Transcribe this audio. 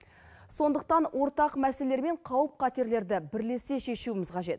сондықтан ортақ мәселелер мен қауіп қатерлерді бірлесе шешуіміз қажет